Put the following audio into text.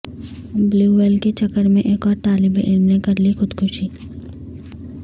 blue whale کے چکر میں ایک اور طالب علم نے کرلی خودکشی